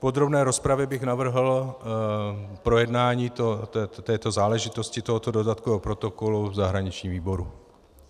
V podrobné rozpravě bych navrhl projednání této záležitosti, tohoto dodatkového protokolu, v zahraničním výboru.